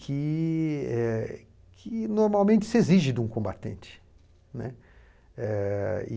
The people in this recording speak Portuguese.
que eh que normalmente se exige de um combatente, né. Eh e